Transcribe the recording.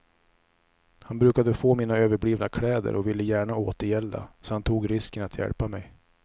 Han brukade få mina överblivna kläder och ville gärna återgälda, så han tog risken att hjälpa mej.